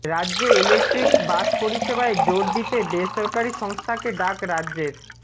রাজ্যে electric bus পরিষেবায় জোর দিতে বেসরকারি সংস্থাকে ডাক রাজ্যের